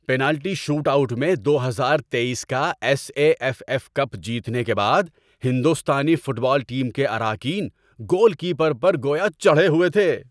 Penalty shootout میں دو ہزار تیئیس کا S A F F cup جیتنے کے بعد ہندوستانی فٹ بال ٹیم کے اراکین گول کیپر پر گویا چڑھے ہوئے تھے۔